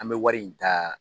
An bɛ wari in ta